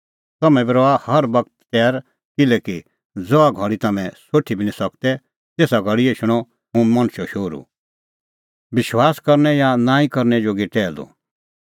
तम्हैं बी रहा हर बगत तैर किल्हैकि ज़हा घल़ी तम्हैं सोठी बी निं सकदै तेसा घल़ी एछणअ हुंह मणछो शोहरू